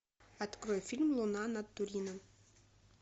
открой фильм луна над турином